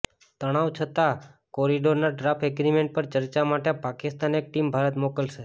તણાવ છતા કોરિડોરના ડ્રાફ્ટ એગ્રીમેન્ટ પર ચર્ચા માટે પાકિસ્તાન એક ટીમ ભારત મોકલશે